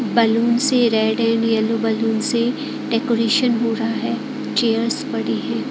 Balloon से red and yellow balloons से decoration हो रहा है चेयर्स पड़ी है।